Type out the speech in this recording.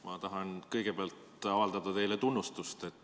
Ma tahan kõigepealt avaldada teile tunnustust.